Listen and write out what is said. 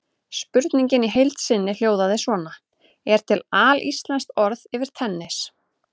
Spurningin í heild sinni hljóðaði svona: Er til alíslenskt orð yfir tennis?